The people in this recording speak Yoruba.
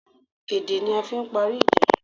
Èdè ni a fi n parí ìjà